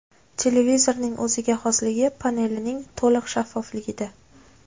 Televizorning o‘ziga xosligi panelining to‘liq shaffofligida.